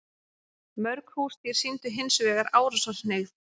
Mörg húsdýr sýndu hins vegar árásarhneigð.